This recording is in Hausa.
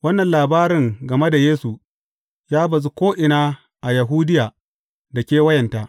Wannan labarin game da Yesu, ya bazu ko’ina a Yahudiya da kewayenta.